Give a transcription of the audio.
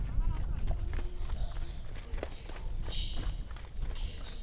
ukubonisana nekhomishini yokhetho